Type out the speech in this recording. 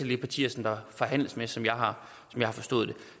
de partier som der forhandles med som jeg har har forstået det